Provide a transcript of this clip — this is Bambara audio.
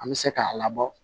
An bɛ se k'a labɔ